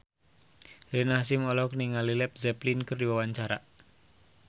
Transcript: Rina Hasyim olohok ningali Led Zeppelin keur diwawancara